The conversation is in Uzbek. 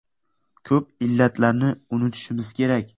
Ko‘p illatlarni unutishimiz kerak.